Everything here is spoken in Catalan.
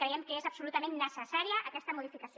creiem que és absolutament necessària aquesta modificació